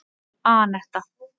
Anetta